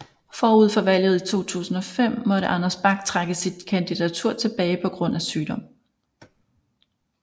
Forud for valget i 2005 måtte Anders Bak trække sit kandidatur tilbage på grund af sygdom